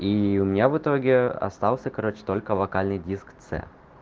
и у меня в итоге остался короче только локальный диск цэ